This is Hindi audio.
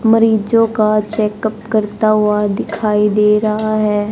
मरीज़ो का चेकअप करता हुआ दिखाई दे रहा है।